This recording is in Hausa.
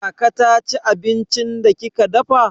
Kaka ta ci abincin da kika dafa?